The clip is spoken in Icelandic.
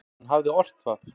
Hann hafði ort það.